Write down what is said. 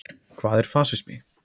Hvað er fasismi?